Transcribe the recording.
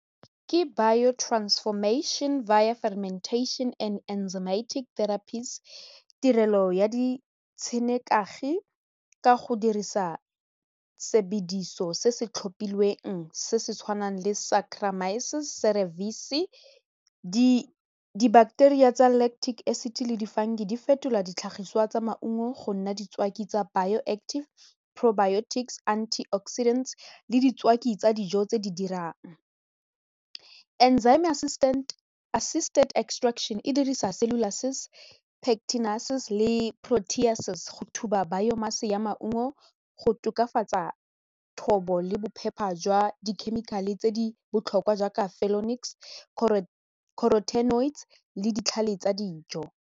Ke bio-transformation and enzymatic therapist tirelo ya ditshenekagi ka go dirisa sebediso se se tlhophilweng se se tshwanang le di-bacteria tsa lactic acid le di-fungi di fetola ditlhagiswa tsa maungo go nna ditswaki tsa bio active, probiotic, anti oxidant le ditswaki tsa dijo tse di dirang, enzyme assistant extraction e dirisa le go thuba bio mass a ya maungo go tokafatsa thobo le bophepha jwa dikhemikhale tse di botlhokwa jaaka , le ditlhale tsa dijo.